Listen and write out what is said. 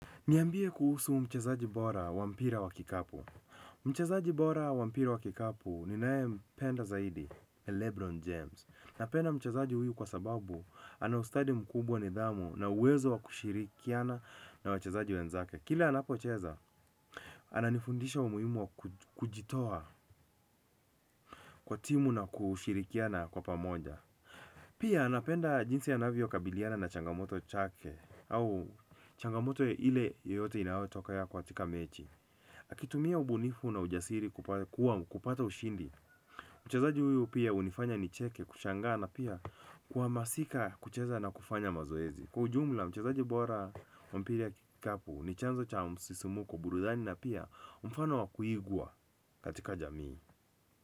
Niambie kuhusu mchezaji bora wa mpira wa kikapu. Mchezaji bora wa mpira wa kikapu ninayempenda zaidi ni Lebron James napenda mchezaji huyu kwa sababu ana ustadi mkubwa, nidhamu na uwezo wa kushirikiana na wachezaji wenzake kila anapocheza, ananifundisha umuhimu wa kujitoa kwa timu na kushirikiana kwa pamoja. Pia napenda jinsi anavyokabiliana na changamoto chake au changamoto ile yoyote inaotokana katika mechi akitumia ubunifu na ujasiri kupata ushindi mchezaji huyu pia hunifanya nicheke kushangaa na pia kwa masika kucheza na kufanya mazoezi kwa ujumla mchezaji bora wa mpira ya kikapu ni chanzo cha msisimko burudani na pia umfano wa kuigwa katika jamii.